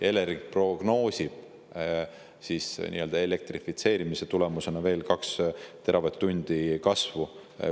Elering prognoosib elektrifitseerimise tulemusena veel 2 teravatt-tundi kasvu.